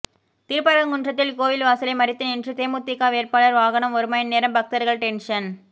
திருப்பரங்குன்றத்தில் கோயில் வாசலை மறித்து நின்ற தேமுதிக வேட்பாளர் வாகனம் ஒரு மணிநேரம் பக்தர்கள் டென்ஷன்